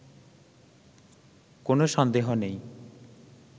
কোনো সন্দেহ নেই